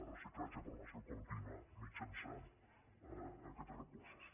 reciclatge formació contínua mitjançant aquests recursos